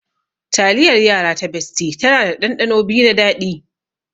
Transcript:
Taliyar yara ta bestie tana da ɗanɗano biyu na daɗi.